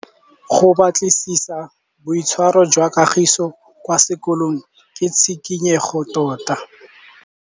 Go batlisisa ka boitshwaro jwa Kagiso kwa sekolong ke tshikinyêgô tota.